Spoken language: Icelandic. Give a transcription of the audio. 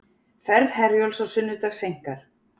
Ferð Herjólfs á sunnudag seinkar